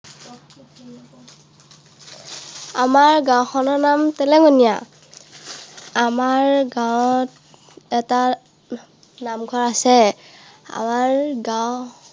আমাৰ গাওঁখনৰ নাম । আমাৰ গাঁৱত এটা নামঘৰ আছে। আমাৰ গাঁও